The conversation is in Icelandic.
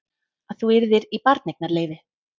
Að þú yrðir í barneignarleyfi.